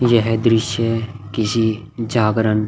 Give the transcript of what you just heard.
यह दृश्य किसी जागरण--